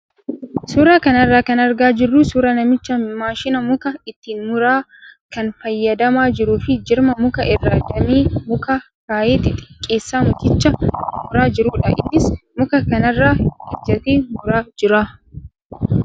Suuraa kana irraa kan argaa jirru suuraa namicha maashina muka ittiin muran kan fayyadamaa jiruu fi jirma mukaa irra damee mukaa kaayee xixixqqeessee mukicha mummuraa jirudha. Innis muka kanarra ejjatee muraa jira.